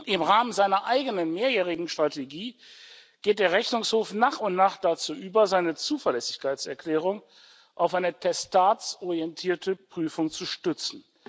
Im Rahmen seiner eigenen mehrjährigen Strategie geht der Rechnungshof nach und nach dazu über, seine Zuverlässigkeitserklärung auf eine testatsorientierte Prüfung zu stützen.